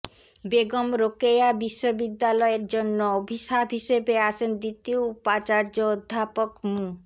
বেগম রোকেয়া বিশ্ববিদ্যালয়ের জন্য অভিশাপ হিসেবে আসেন দ্বিতীয় উপাচার্য অধ্যাপক মু